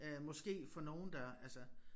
Øh måske for nogen der altså